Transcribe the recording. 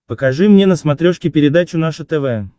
покажи мне на смотрешке передачу наше тв